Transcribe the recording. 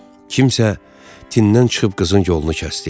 Kimsə tindən çıxıb qızın yolunu kəsdi.